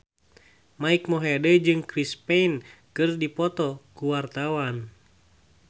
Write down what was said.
Mike Mohede jeung Chris Pane keur dipoto ku wartawan